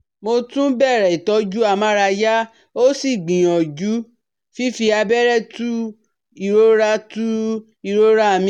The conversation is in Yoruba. Mo tún bẹ̀rẹ̀ ìtọ́jú amárayá ó sì gbìyàjú fífi abẹ́rẹ́ tu ìrora tu ìrora mi